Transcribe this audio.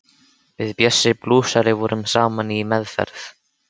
Við Bjössi blúsari vorum saman í meðferð.